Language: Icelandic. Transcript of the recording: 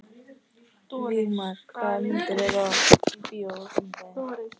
Vígmar, hvaða myndir eru í bíó á fimmtudaginn?